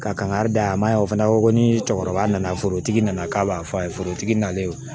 Ka kan ka da a ma yan o fana ko ko ni cɛkɔrɔba nana forotigi nana k'a b'a fɔ a ye forotigi nalen